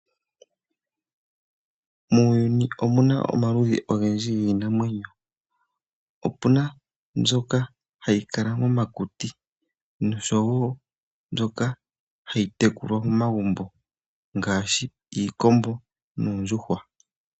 Muuyuni omuna omaludhi ongendji nginamwenyo, opuna mbyoka hayi kala momakuti nosho wo mbyoka hayi tekulwa momagumbo ngashi iikombo noondjuhwa.